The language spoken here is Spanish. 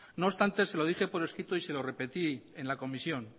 no obstante se lo dije por escrito y se lo repetí en la comisión